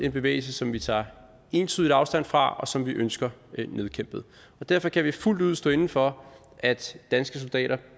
en bevægelse som vi tager entydigt afstand fra og som vi ønsker nedkæmpet derfor kan vi fuldt ud stå inde for at danske soldater